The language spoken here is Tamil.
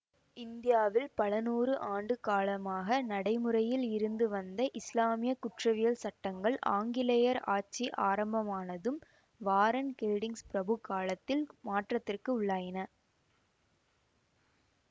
இந்தியாவில் பலநூறு ஆண்டு காலமாக நடைமுறையில் இருந்து வந்த இஸ்லாமிய குற்றவியல் சட்டங்கள் ஆங்கிலேயர் ஆட்சி ஆரம்பமானதும் வாரன் ஹேல்டிங்ஸ் பிரபு காலத்தில் மாற்றத்திற்கு உள்ளாயின